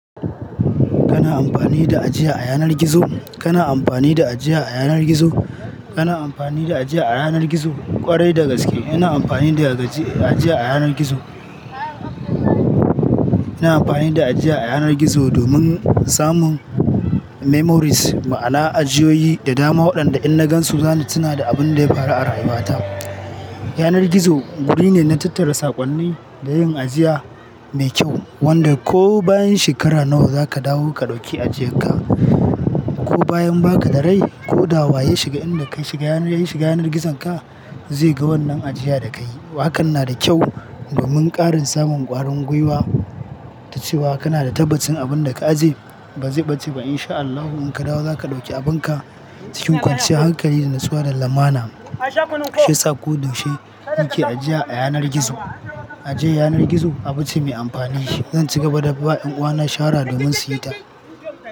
Kana amfani da ajiya a yanar gizo? Kana amfani da ajiya a yanar gizo? Kana amfani da ajiya a yanar gizo? Kwarai da gaske ina amfani da ajiy-- ajiya a yanar gizo. Ina amfani da ajiya a yanar gizo domin samun memories, ma'ana ajiyoyi da dama waɗanda in na gan su zani suna da abun da ya faru a rayuwa ta. Yanar gizo guri ne na tattara sakonni da yin ajiya mai kyau, wanda ko bayan shekara nawa zaka dawo ka dauki ajiyan ka, ko bayan baka da rai ko da wa ya shiga inda ka-- ya shiga yanar gizon ka zai ga wannan ajiya da kayi. To hakan na da kyau domin ƙarin samun ƙwarin gwiwa da cewa kana da tabbacin abun da ka ajiye, ba zai ɓace ba in sha Allahu in ka dawo zaka ɗauki abunka cikin kwanciyar hankali da natsuwar lamana. Shi yasa ko da yaushe nake ajiya a yanar gizo. Ajiyar yanar gizo abu ce mai amfani, zan ci gaba da ba 'yan uwana shara domin su yi ta.